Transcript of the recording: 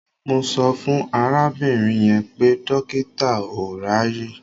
Mo sọ fún arábìnrin yẹn pé dọ́kítà ò ráàyè.